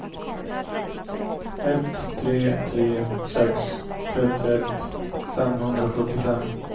ett tre tre sex trettioett femhundrasjuttiofem